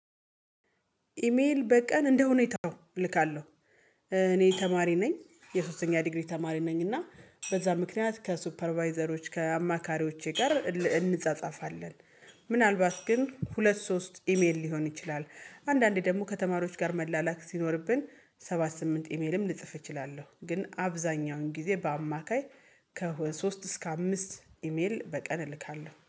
ኢሜል በቀን እንደሁኔታው እልካለሁ። እኔ ተማሪ ነኝ የሶስተኛ ዲግሪ ተማሪ ነኝ እና በዛ ምክንያት ከሱፐርቫይዘሮች ከአማካሪዎቼ ጋር እንጻጻፋለን። ምናልባት ግን ሁለት ሶስት ኢሜል ሊሆን ይችላል። አንዳንዴ ደሞ ከተማሪዎች ጋር መላላክ ሲኖርብን ሰባት ስምንት ኢሜልም ልጽፍ እችላለሁ። ግን አብዛኛውን ጊዜ በአማካይ ከሁ ሶስት እስከ አምስት ኢሜል በቀን እልካለሁ